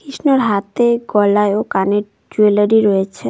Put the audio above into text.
কৃষ্ণর হাতে গলায় ও কানে জুয়েলারি রয়েছে।